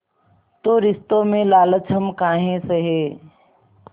तो रिश्तों में लालच हम काहे सहे